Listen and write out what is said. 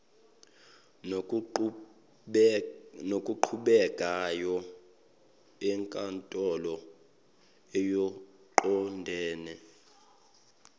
nokuqhubekayo enkantolo okuqondene